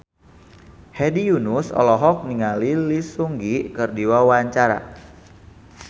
Hedi Yunus olohok ningali Lee Seung Gi keur diwawancara